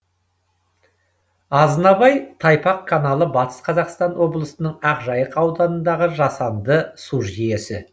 азынабай тайпақ каналы батыс қазақстан облысының ақжайық ауданындағы жасанды су жүйесі